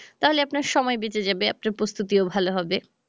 তাহলে আপনার সময় বেঁচে যাবে আপনার প্রস্তুতিও ভালো হবে।